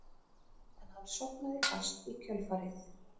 En hann sofnaði fast í kjölfarið